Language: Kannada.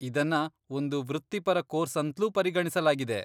ಇದನ್ನ ಒಂದು ವೃತ್ತಿಪರ ಕೋರ್ಸ್ ಅಂತ್ಲೂ ಪರಿಗಣಿಸಲಾಗಿದೆ.